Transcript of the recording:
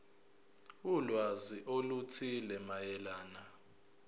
ulwazi oluthile mayelana